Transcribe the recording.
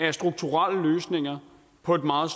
er strukturelle løsninger på et meget